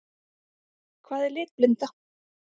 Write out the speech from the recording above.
Hvað er litblinda?